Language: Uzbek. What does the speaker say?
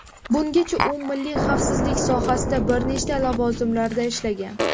Bungacha u milliy xavfsizlik sohasida bir nechta lavozimlarda ishlagan.